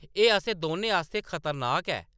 एह्‌‌ असें दौनें आस्तै खतरनाक ऐ ।